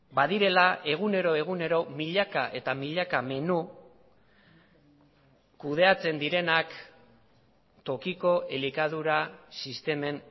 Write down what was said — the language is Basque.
badirela egunero egunero milaka eta milaka menu kudeatzen direnak tokiko elikadura sistemen